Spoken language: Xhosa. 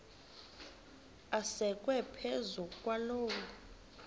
asekwe phezu kwaloo